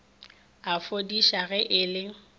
a fodiša ge e le